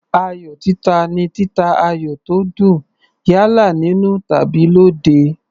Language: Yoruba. Ayò títa ni títa ayò tó dùn, yálà nínú tàbí lóde.